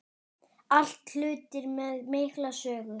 Allt hlutir með mikla sögu.